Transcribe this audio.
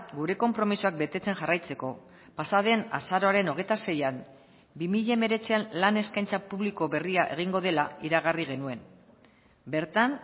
gure konpromisoak betetzen jarraitzeko pasaden azaroaren hogeita seian bi mila hemeretzian lan eskaintza publiko berria egingo dela iragarri genuen bertan